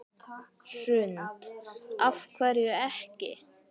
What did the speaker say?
Hrund: Af hverju ekki?